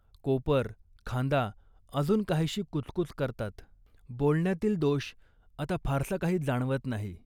कोपर, खांदा अजून काहीशी कुचकुच करतात. बोलण्यातील दोष आता फारसा काही जाणवत नाही